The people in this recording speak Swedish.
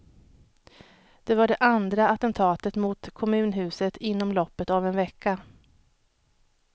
Det var det andra attentatet mot kommunhuset inom loppet av en vecka.